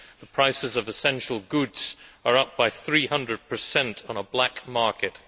the prices of essential goods are up by 300 on a black market